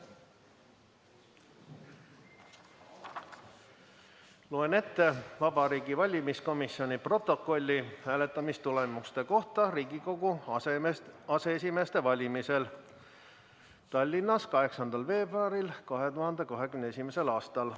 Loen ette Vabariigi Valimiskomisjoni protokolli hääletamistulemuste kohta Riigikogu aseesimeeste valimisel Tallinnas 8. veebruaril 2021. aastal.